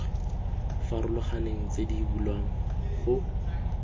farologaneng tse di bulwang go